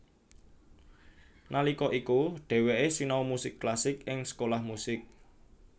Nalika iku dheweké sinau musik klasik ing Sekolah musik